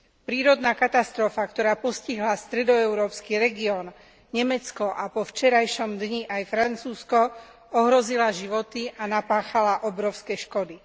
Prírodná katastrofa, ktorá postihla stredoeurópsky región, Nemecko a po včerajšom dni aj Francúzsko, ohrozila životy a napáchala obrovské škody.